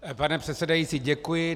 Pane předsedající, děkuji.